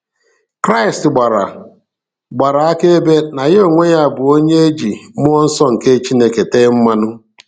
Kraist gbara gbara akaebe na Ya onwe ya bu "Onye e ji Mmụọ Nsọ nke Chineke tee mmanụ".